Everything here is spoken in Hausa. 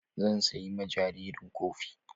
Zan siya ma jariran kofi.